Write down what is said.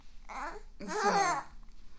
Og så